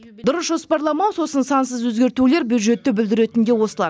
дұрыс жоспарламау сосын сансыз өзгертулер бюджетті бүлдіретін де осылар